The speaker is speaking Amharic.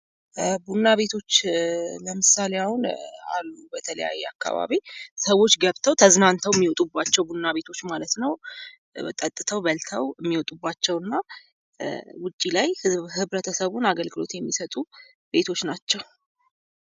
ቡና ቤቶች ለምሳሌ አሁን አሉ በተለያየ አካባቢ ሰዎች ገብተው ተዝናንቶ የሚወጡባቸው ቡና ቤቶች ማለት ነው። ጠጥተው በልተው የሚወጡባቸው እና ውጪ ላይ ህብረተሰቡን አገልግሎት የሚሰጡ ቤቶች ናቸው።